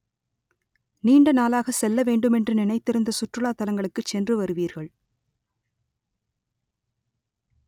நீண்ட நாளாக செல்ல வேண்டுமென்று நினைத்திருந்த சுற்றுலா தலங்களுக்குச் சென்று வருவீர்கள்